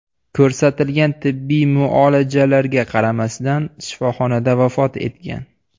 ko‘rsatilgan tibbiy muolajalarga qaramasdan shifoxonada vafot etgan.